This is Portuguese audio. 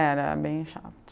Era bem chato.